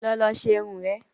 Lọ lọ ṣe irun rẹ